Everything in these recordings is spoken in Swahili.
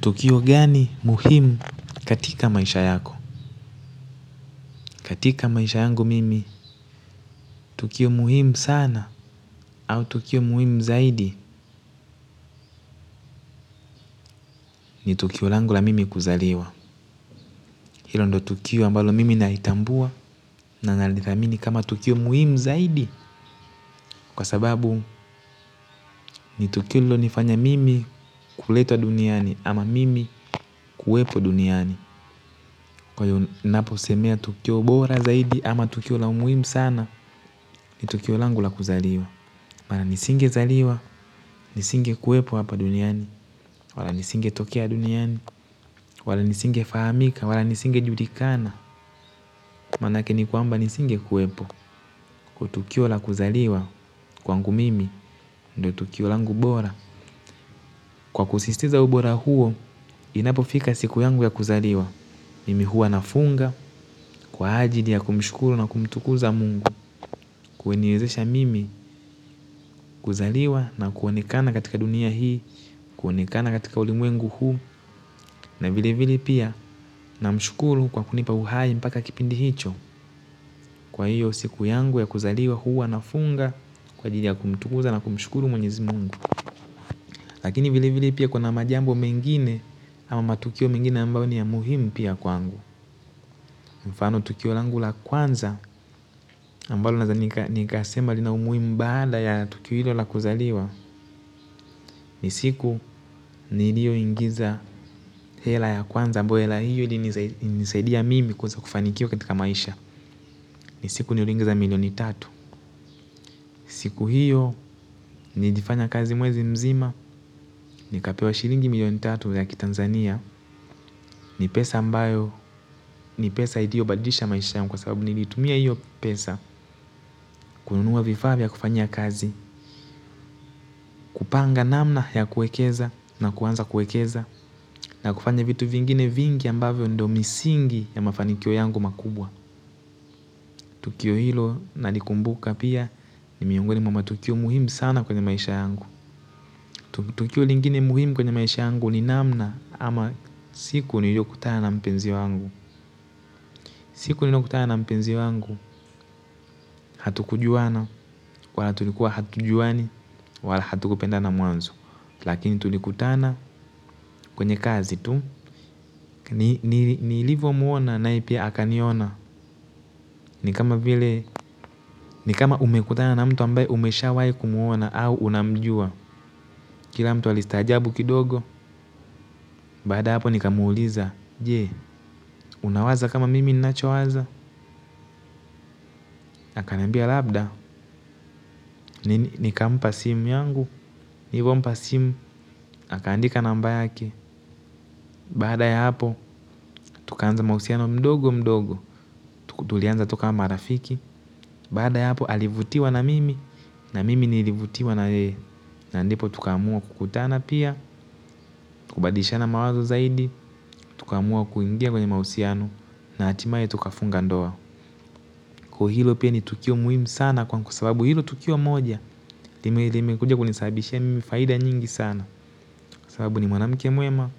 Tukio gani muhimu katika maisha yako? Katika maisha yangu mimi, tukio muhimu sana au tukio muhimu zaidi ni tukio langu la mimi kuzaliwa. Hilo ndo tukio ambalo mimi naitambua na nalithamini kama tukio muhimu zaidi kwa sababu ni tukio lilionifanya mimi kuletwa duniani au mimi kuwepo duniani. Kwa hiyo napo semea tukio bora zaidi ama tukio langu muhimu sana ni tukio langu la kuzaliwa. Wala nisinge zaliwa, nisinge kuwepo hapa duniani, wala nisinge tokea duniani, wala nisinge famika, wala nisinge julikana. Manake ni kwamba nisinge kuwepo, kutukio la kuzaliwa kwangu mimi, ndo tukio langu bora. Kwa kusisitiza ubora huo, inapofika siku yangu ya kuzaliwa mimi hua nafunga, kwa ajili ya kumshukuru na kumtukuza mungu kuniwezesha mimi kuzaliwa na kuonekana katika dunia hii kuonekana katika ulimwengu huu na vile vile pia namshukuru kwa kunipa uhai mpaka kipindi hicho kwa hiyo siku yangu ya kuzaliwa huwa anafunga kwajili ya kumtukuza na kumshukuru mwenyezi mungu lakini vile vile kuna majambo mengine au matukio mengine ambayo ni ya muhimu vile vile kwangu mfano tukio ambalo naweza kusema lina umuhimu baada ya tukio hilo la kuzaliwa. Ni siku nilioingiza hela ya kwanza ambayo hela hiyo ili nisaidia mimi kuweza kufanikiwa katika maisha. Ni siku niliyoingiza milioni tatu. Siku hiyo nilifanya kazi mwezi mzima. Nikapewa shilingi milioni tatu ya kitanzania ni pesa ambayo ni pesa iliyobadilisha maisha yangu kwa sababu nilitumia hiyo pesa. Kununua vifaa vya kufanyia kazi. Kupanga namna ya kuwekeza na kuanza kuwekeza na kufanya vitu vingine vingi ambavyo ndo misingi ya mafanikio yangu makubwa. Tukio hilo nalikumbuka pia ni miongoni mwa matukio muhimu sana kwenye maisha yangu. Tukio lingine muhimu kwenye maisha yangu ni namna ama siku niliyokutana na mpenzi wangu. Siku niliyokutana na mpenzi wangu hatukujuana wala tulikuwa hatujuani wala hatukupendana mwanzo. Lakini tulikutana kwenye kazi tu. Nilivomuona na yeye pia akaniona. Ni kama umekutana na mtu ambaye umeshawahi kumuona au unamjua. Kila mtu alistajabu kidogo. Baada ya hapo nikamuuliza. Je, unawaza kama mimi ninachowaza? Akaniambia labda nikampa simu yangu nilivompa simu. Akaandika namba yake baada ya hapo tukaanza mahusiano mdogo mdogo tulianza toka marafiki. Baada ya hapo alivutiwa na mimi na mimi nilivutiwa na yeye na ndipo tukaamua kukutana pia. Kubadilishana mawazo zaidi. Tukaamua kuingia kwenye mahusiano na hatimaye tukafunga ndoa ko hilo pia ni tukio muhimu sana kwa sababu hilo tukio moja. Limekuja kunisabishia mimi faida nyingi sana. Kwasababu ni mwanamke mwema.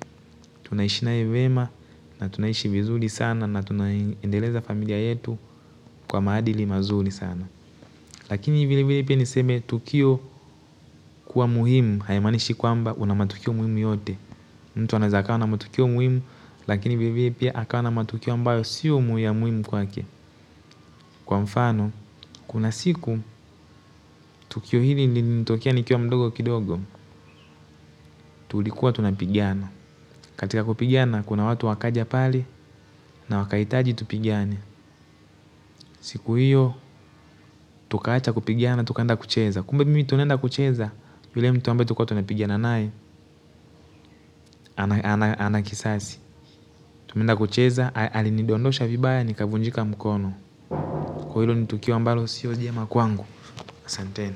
Tunaishi nae vema na tunaishi vizuri sana na tunaendeleza familia yetu kwa maadili mazuri sana. Lakini vile vile pia niseme tukio kuwa muhimu haya maanishi kwamba una matukio muhimu yote. Mtu anaweza akawa ana matukio muhimu, lakini vilevile pia akawa u na matukio ambayo sio ya muhimu kwake. Kwa mfano, kuna siku, tukio hililinitokia nikiwa mdogo kidogo, tulikuwa tunapigiana. Katika kupigiana, kuna watu wakaja pali na wakahitaji tupigane. Siku hiyo, tukaacha kupigana, tukaenda kucheza. Kumbe mimi tunaenda kucheza, yule mtu ambae tulikuwa tunapigiana nae, ana kisasi. Tumeenda kucheza, alinidondosha vibaya nikavunjika mkono. Ko hilo ni tukio ambalo siyo jema kwangu, asanteni.